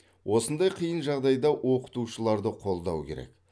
осындай қиын жағдайда оқытушыларды қолдау керек